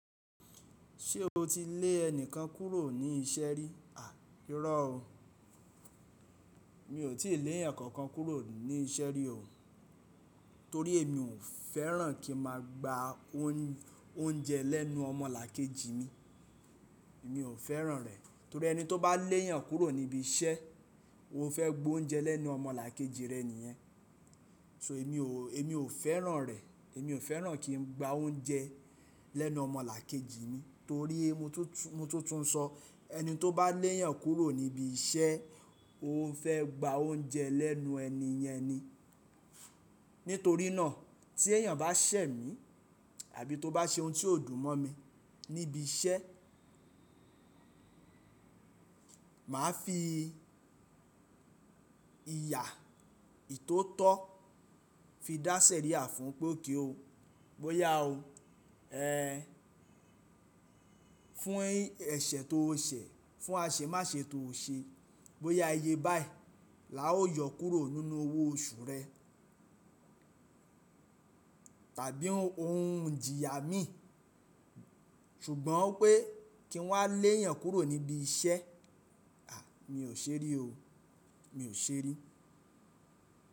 Ṣé o ti lé ẹnìkan kúrò ní iṣẹ́ rí? À, irọ̀ o. Mi ò tíì lé ẹ̀yàn kankan kúrò ní iṣẹ́ rí o, torí èmi ò fẹ́ràn kí n máa gba óúnjẹ lẹ́nu ọmọlàkejì mi. Èmi ò fẹ́ràn rẹ̀, torí ẹni tó bá léyàn kúrò níbi iṣẹ́, ó fẹ́ gba oúnjẹ lẹ́nu ọmọlàkejì rẹ̀ nìyẹn. So èmi ò, èmi ò fẹ́ràn rẹ̀. Èmi ò fẹ́ràn kí n gba oúnjẹ lẹ́nu ọmọlàkejì mi, torí mo tún, mo tún ń sọ, ẹni tó bá léyàn kúrò níbi iṣẹ́, ó fẹ́ gba oúnjẹ lẹ́nu ẹni yẹn ni. Nítorí náà tí ẹ̀yàn bá ṣẹ̀ mí àbí tó bá ṣe ohun tó dùn mọ́ mi níbi iṣẹ́, màá fi ìyà ìtótọ́ fi dáṣẹ̀ rí àfún ún pé kí o, bóyá o, ẹ́ fún ẹsẹ̀ tó o ṣẹ̀, fún àṣẹ máṣe tó o ṣe, bóyá iye báyìí la ó yọ kúrò nínú owó oṣù rẹ tàbí òun ń jìyà mí. Ṣùgbọ́n pé kí n wá léyàn kúrò níbi iṣẹ́, à, mi ò ṣe rí o. Mi ò ṣe rí.